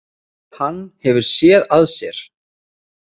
Hann hefur SÉÐ AÐ SÉR.